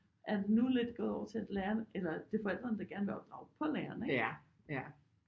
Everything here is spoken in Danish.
Er det nu lidt gået over til at lærerne eller det er forældrene der gerne vil opdrage på lærerne ikke